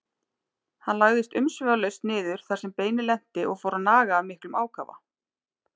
Hann lagðist umsvifalaust niður þar sem beinið lenti og fór að naga af miklum ákafa.